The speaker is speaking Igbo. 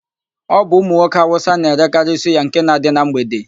Ọ bụ ụmụnwoke Awụsa na-erekarị suya nke na-adị na mgbede.